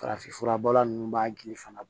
Farafinfura bɔla ninnu b'a gili fana